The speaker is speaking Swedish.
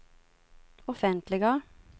offentliga